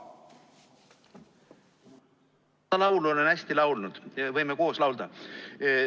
Seda laulu olen ma hästi palju laulnud, võime ka koos laulda.